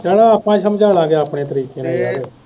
ਚਲੋ ਆਪਾ ਸਮਝਾਲਾਗੇ ਆਪਣੇ ਤਰੀਕੇ ਨਾਲ ਯਾਰ